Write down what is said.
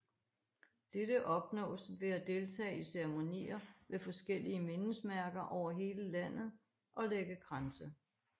Dette opnås ved at deltage i ceremonier ved forskellige mindesmærker over hele landet og lægge kranse